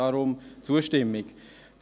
Deshalb stimmen wir zu.